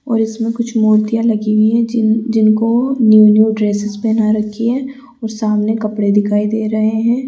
और इसमें कुछ मूर्तियां लगी हुई है जी जिनको न्यू न्यू ड्रेस पहना रखी है और सामने कपड़े दिखाई दे रहे हैं।